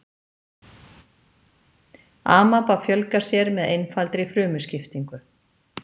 Amaba fjölgar sér með einfaldri frumuskiptingu.